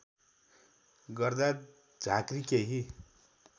गर्दा झाँक्री केही